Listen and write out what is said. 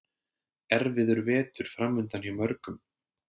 Erfiður vetur framundan hjá mörgum